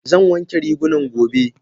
Zan wanke rigunan gobe.